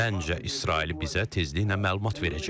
Məncə, İsraili bizə tezliklə məlumat verəcək.